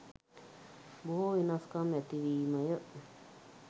බොහෝ වෙනස්කම් ඇතිවීමය.